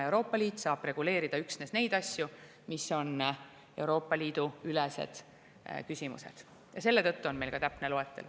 Euroopa Liit saab reguleerida üksnes neid asju, mis on Euroopa Liidu ülesed küsimused, ja selle tõttu on meil ka täpne loetelu.